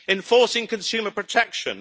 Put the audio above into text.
enforcing consumer protection